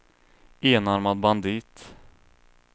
enarmad bandit